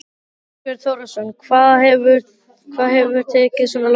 Þorbjörn Þórðarson: Hvað hefur tekið svona langan tíma?